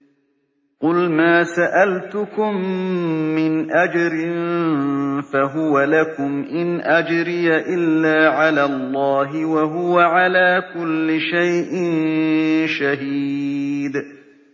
قُلْ مَا سَأَلْتُكُم مِّنْ أَجْرٍ فَهُوَ لَكُمْ ۖ إِنْ أَجْرِيَ إِلَّا عَلَى اللَّهِ ۖ وَهُوَ عَلَىٰ كُلِّ شَيْءٍ شَهِيدٌ